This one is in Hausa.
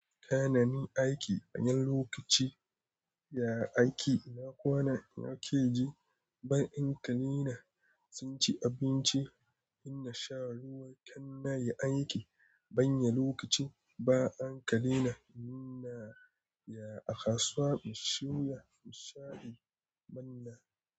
Tayananin aiki, na lokaci Ya aiki, ina kwana yake ji, ban anka leina, sun ci abinci, in na sha ruwa kan na yi aiki, ban yi lokaci ba anka leina, ina ya a kasuwa, mu siyo ya musa'i manna.